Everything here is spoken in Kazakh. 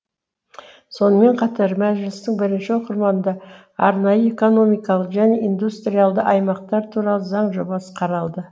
сонымен қатар мәжілістің бірінші оқырманында арнайы экономикалық және индустриалды аймақтар туралы заң жобасы қаралды